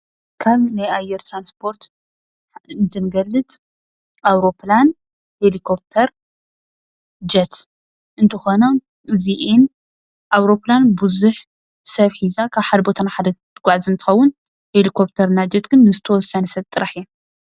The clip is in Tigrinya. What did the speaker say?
ካብ ናይ ኣየር ትራንስፖርት እንትንገልፅ ኣውሮፕላን ፣ሄልኮፕተር፡ጀት እንትኾና፣ እዚአን ኣውሮፕላን ቡዙሕ ሰብ ሒዛ ካብ ሓደ ቦታ ናብ ሓደ ቦታ ሒዛ ትጓዓዝ እንትትውን፣ ሄለክፍተር እና ጀት ግን ዝተወሰነ ሰብ ጥራሕ እየን፡፡